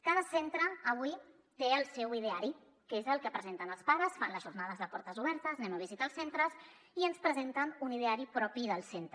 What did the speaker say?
cada centre avui té el seu ideari que és el que presen·ten als pares fan les jornades de portes obertes anem a visitar els centres i ens pre·senten un ideari propi del centre